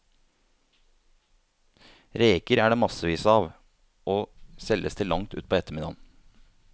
Reker er det massevis av, og selges til langt utpå ettermiddagen.